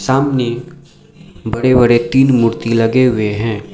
सामने बड़े बड़े तीन मूर्ति लगे हुए हैं।